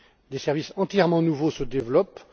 Des services entièrement nouveaux se développent.